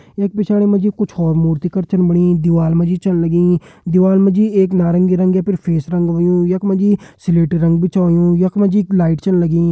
यख पिछाड़ी मा जी कुछ और मूर्ति कर छन बणी दीवाल मा जी छन लगीं दीवाल मा जी एक नारंगी रंग या फेस रंग होयुं यख मा जी स्लेटी रंग भी छ होयुं यख मा जी एक लाइट छन लगीं।